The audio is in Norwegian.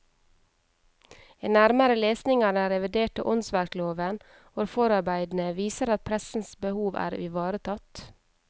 En nærmere lesning av den reviderte åndsverkloven og forarbeidene viser at pressens behov er ivaretatt.